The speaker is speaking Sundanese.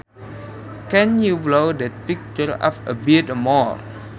Can you blow that picture up a bit more